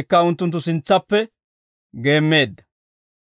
Ikka unttunttu sintsaappe geemmeedda.